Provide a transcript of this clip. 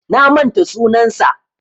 Na manta sunansa.